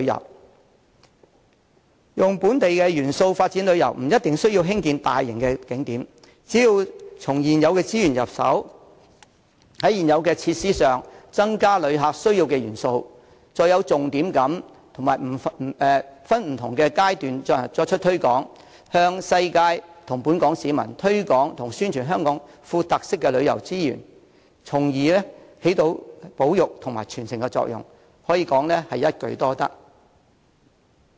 利用本地元素發展旅遊，不一定需要興建大型景點，只要從現有資源入手，在現有設施加入旅客需要的元素，再有重點地及分不同階段作出推廣，向世界及本港市民推廣和宣傳香港富有特色的旅遊資源，從而起保育和傳承的作用，一定可收一舉多得之效。